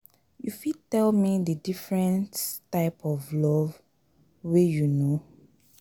you fit tell me di difference types of love wey you know?